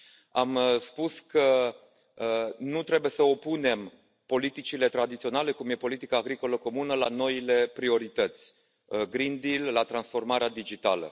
Am spus că nu trebuie să opunem politicile tradiționale, cum e politica agricolă comună, la noile priorități, la transformarea digitală.